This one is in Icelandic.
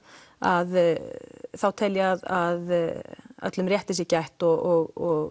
að þá tel ég að öllum rétti sé gætt og